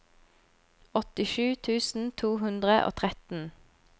åttisju tusen to hundre og tretten